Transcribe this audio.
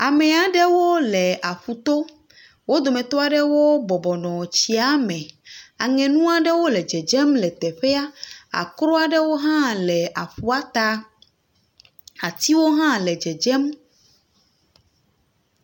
Ame aɖewo le aƒu to. Wo dometɔ aɖewo bɔbɔ nɔ tsia me. Aŋunu aɖewo le dzedzem le teƒea. Aklu aɖewo hã le aƒua ta. Atiwo aɖe hã le dzedzem.